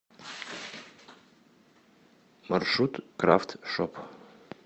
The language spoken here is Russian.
маршрут крафт шоп